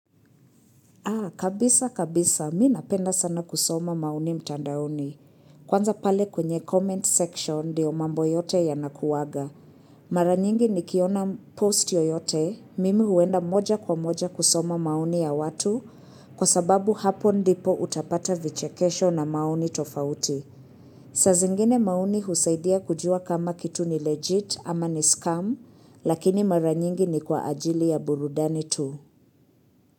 Aa, kabisa kabisa, mimi napenda sana kusoma maoni mtandaoni. Kwanza pale kwenye comment section ndiyo mambo yote yanakuwaga. Maranyingi nikiona post yoyote, mimi huenda moja kwa moja kusoma maoni ya watu, kwa sababu hapo ndipo utapata vichekesho na maoni tofauti. Sazingine maoni husaidia kujua kama kitu ni legit ama ni scam, lakini maranyingi ni kwa ajili ya burudani tu.